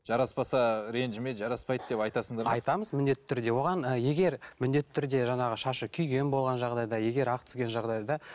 жараспаса ренжіме жараспайды деп айтасыңдар ма айтамыз міндетті түрде оған егер міндетті түрде жаңағы шашы күйген болған жағдайда егер ақ түскен жағдайда